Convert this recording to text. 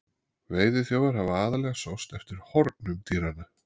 Veiðiþjófar hafa aðallega sóst eftir hornum dýranna.